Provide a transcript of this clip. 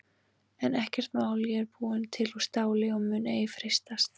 En ekkert mál ég er búin til úr STÁLI og mun ei freistast.